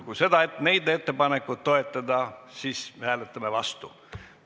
Kui seda ettepanekut toetada, siis me hääletame seaduse vastu.